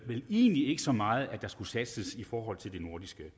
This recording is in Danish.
vel egentlig ikke så meget om at der skulle satses i forhold til det nordiske